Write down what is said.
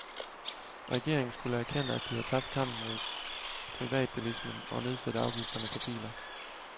Regeringen skulle erkende, at de har tabt kampen mod privatbilismen og nedsætte afgifterne på biler.